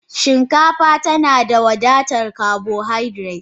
Shinkafa tana da wadatar carbohydrates.